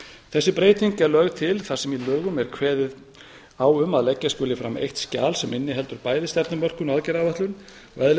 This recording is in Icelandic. þessi breyting er lögð til þar sem í lögunum er kveðið á um að leggja skuli fram eitt skjal sem inniheldur bæði stefnumörkun og aðgerðaáætlun eðli